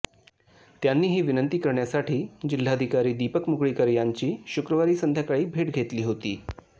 त्यांनी ही विनंती करण्यासाठी जिल्हाधिकारी दीपक मुगळीकर यांची शुक्रवारी संध्याकाळी भेट घेतली होती